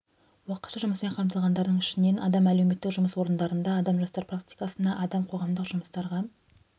уақытша жұмыспен қамтылғандардың ішінен адам әлеуметтік жұмыс орындарына адам жастар практикасына адам қоғамдық жұмыстарға